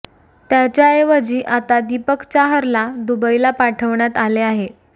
त्याच्या ऐवजी आता दीपक चाहरला दुबईला पाठविण्यात आले आहे